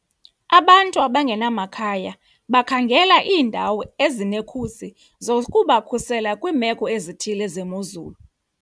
Abantu abangenamakhaya bakhangela iindawo ezinekhusi zokubakhusela kwiimeko ezithile zemozulu.